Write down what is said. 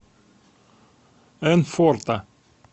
энфорта